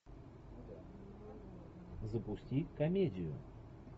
запусти комедию